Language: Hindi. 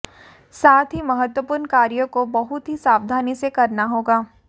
साथ ही महत्वपूर्ण कार्यों को बहुत ही सावधानी से करना होगा